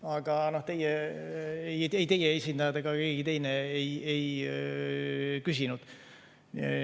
Aga ei teie esindajad ega keegi teine ei küsinud.